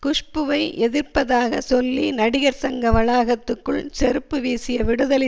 குஷ்புவை எதிர்ப்பதாக சொல்லி நடிகர் சங்க வளாகத்துக்குள் செருப்பு வீசிய விடுதலை